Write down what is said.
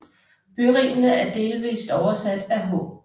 Byrimene er delvis oversat af H